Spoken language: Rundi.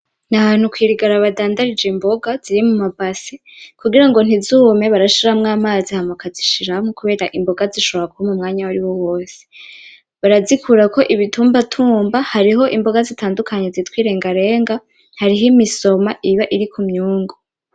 Nahantu kwirigara badandarije imboga ziri mumabasi kugirango ntizume barashiramwo amazi hama bakazishiramwo kubera imboga zishobora kuma umwanya wariwo wose, barazikurako ibitumba tumba hariko imboga zitandukanye zitwa irengarenga hariho imisoma iba iri kumyungu